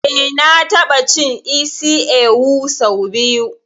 Eh na ta ɓa cin isi ewu sau biyu